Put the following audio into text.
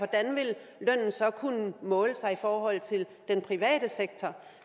og så kunne måle sig i forhold til den private sektor